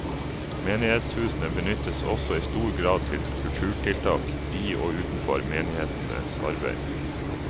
Menighetshusene benyttes også i stor grad til kulturtiltak i og utenfor menighetenes arbeid.